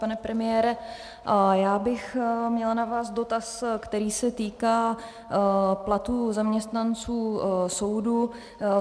Pane premiére, já bych měla na vás dotaz, který se týká platů zaměstnanců soudu.